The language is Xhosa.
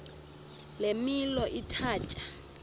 le milo ithatya